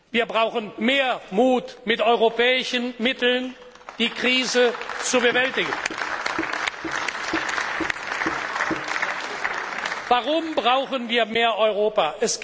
Wir brauchen mehr Mut, mit europäischen Mitteln die Krise zu bewältigen. Warum brauchen wir mehr Europa?